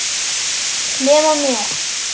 Nema mér.